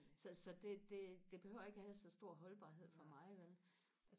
så så det det det behøver ikke og have så stor holdbarhed for mig vel